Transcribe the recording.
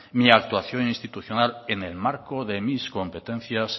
mi actuación institucional en el marco de mis competencias